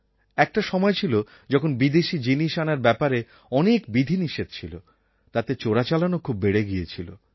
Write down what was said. একটা সময় ছিল যখন বিদেশী জিনিস আনার ব্যাপারে অনেক বিধিনিষেধ ছিল তাতে চোরাচালানও খুব বেড়ে গিয়েছিল